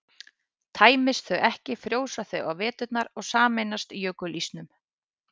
tæmist þau ekki frjósa þau á veturna og sameinast jökulísnum